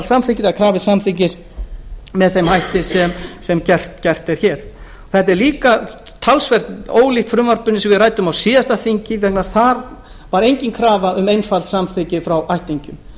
einfalds samþykkis það er með þeim hætti sem gert er hér þetta er líka talsvert ólíkt frumvarpinu sem við ræddum á síðasta þingi þar var engin krafa um einfalt samþykki frá ættingjum